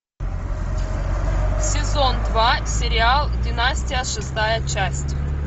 сезон два сериал династия шестая часть